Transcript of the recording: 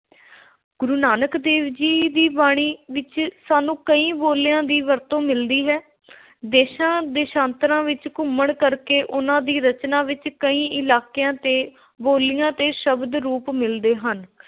ਗੁਰੂ ਨਾਨਕ ਦੇਵ ਜੀ ਦੀ ਬਾਣੀ ਵਿਚ ਸਾਨੂੰ ਕਈ ਬੋਲੀਆਂ ਦੀ ਵਰਤੋਂ ਮਿਲਦੀ ਹੈ ਦੇਸ਼ਾਂ – ਦੇਸ਼ਾਂਤਰਾਂ ਵਿਚ ਘੁੰਮਣ ਕਰਕੇ ਉਨ੍ਹਾਂ ਦੀ ਰਚਨਾ ਵਿਚ ਕਈ ਇਲਾਕਿਆਂ ਤੇ ਬੋਲੀਆਂ ਦੇ ਸ਼ਬਦ – ਰੂਪ ਮਿਲਦੇ ਹਨ ।